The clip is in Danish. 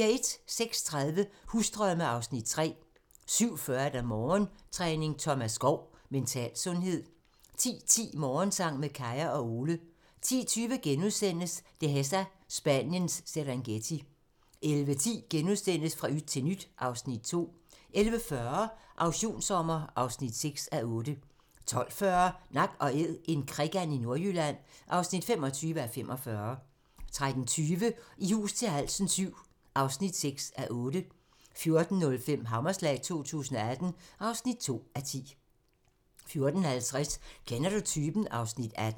06:30: Husdrømme (Afs. 3) 07:40: Morgentræning: Thomas Skov - Mental sundhed 10:10: Morgensang med Kaya og Ole 10:20: Dehesa - Spaniens Serengeti * 11:10: Fra yt til nyt (Afs. 2)* 11:40: Auktionssommer (6:8) 12:40: Nak & Æd - en krikand i Nordjylland (25:45) 13:20: I hus til halsen VII (6:8) 14:05: Hammerslag 2018 (2:10) 14:50: Kender du typen? (Afs. 18)